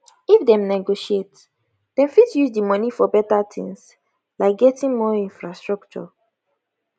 if dem negotiate dem fit use di money for beta things like getting more infrastructure